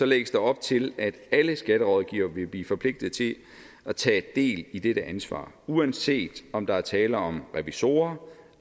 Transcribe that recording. lægges der op til at alle skatterådgivere vil blive forpligtet til at tage del i dette ansvar uanset om der er tale om revisorer